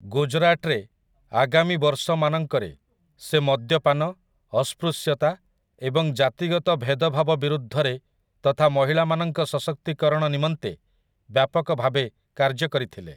ଗୁଜରାଟରେ, ଆଗାମୀ ବର୍ଷମାନଙ୍କରେ, ସେ ମଦ୍ୟପାନ, ଅସ୍ପୃଶ୍ୟତା, ଏବଂ ଜାତିଗତ ଭେଦଭାବ ବିରୁଦ୍ଧରେ ତଥା ମହିଳାମାନଙ୍କ ସଶକ୍ତିକରଣ ନିମନ୍ତେ ବ୍ୟାପକ ଭାବେ କାର୍ଯ୍ୟ କରିଥିଲେ ।